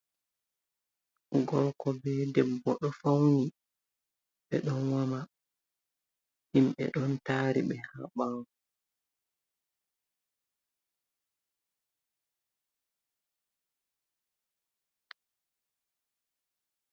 Gorko be debbo ɗo fauni ɓe ɗon woma, himɓe ɗon tari ɓe ha ɓawo.